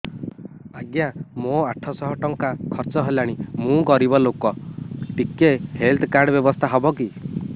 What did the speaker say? ଆଜ୍ଞା ମୋ ଆଠ ସହ ଟଙ୍କା ଖର୍ଚ୍ଚ ହେଲାଣି ମୁଁ ଗରିବ ଲୁକ ଟିକେ ହେଲ୍ଥ କାର୍ଡ ବ୍ୟବସ୍ଥା ହବ କି